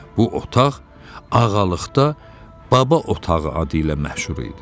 Bu otaq ağalıqda baba otağı adı ilə məşhur idi.